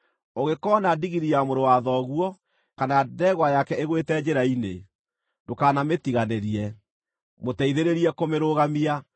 Ũngĩkoona ndigiri ya mũrũ wa thoguo, kana ndegwa yake ĩgũĩte njĩra-inĩ, ndũkanamĩtiganĩrie; mũteithĩrĩrie kũmĩrũgamia.